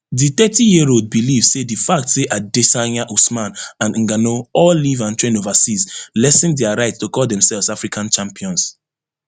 di thirtyyearold believe say di fact say adesanya usman and ngannou all live and train overseas lessen dia right to call demselves african champions